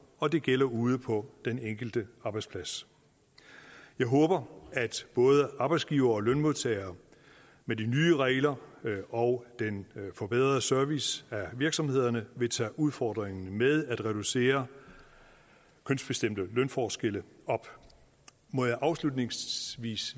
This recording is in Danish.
og det gælder ude på den enkelte arbejdsplads jeg håber at både arbejdsgivere og lønmodtagere med de nye regler og den forbedrede service af virksomhederne vil tage udfordringen med at reducere kønsbestemte lønforskelle op må jeg afslutningsvis